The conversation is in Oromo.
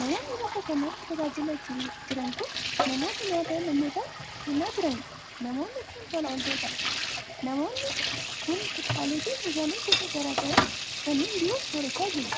Namoonni bakka kanatti tajaajilaa jiran kun, namoota nyaata namootaaf kennaa jiranii dha. Namoonni kun, tola ooltota dha. Namoonni kun, kuduraalee fi muduraalee gosa garaa garaa fi kanneen biroos soorachaa jiru.